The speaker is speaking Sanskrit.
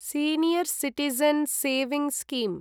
senior citizen savings scheme